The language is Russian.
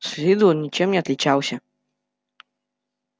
с виду он ничем не отличался